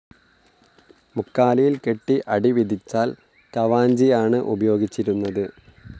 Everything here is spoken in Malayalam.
മുക്കാലിയിൽ കെട്ടി അടി വിധിച്ചാൽ കവാഞ്ചിയാണ് ഉപയോഗിച്ചിരുന്നത്.